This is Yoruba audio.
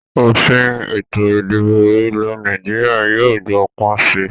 Òfin Ètò ìdìbò ilẹ̀ Nàìjíríà yìí ó gbó pọ̀n síí